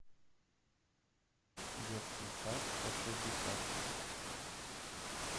детский сад сто шестьдесят